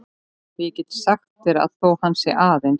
Og ég get sagt þér að þótt hann sé aðeins